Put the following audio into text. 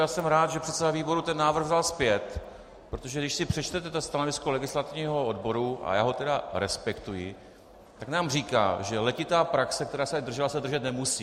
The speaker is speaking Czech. Já jsem rád, že předseda výboru ten návrh vzal zpět, protože když si přečtete stanovisko legislativního odboru, a já ho tedy respektuji, tak nám říká, že letitá praxe, která se držela, se držet nemusí.